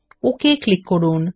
okay click করুন